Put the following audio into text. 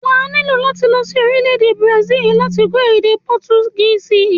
Wà á nílò láti lọ sí orílẹ̀-èdè bùràsílì láti kọ́ èdè pọtugísì.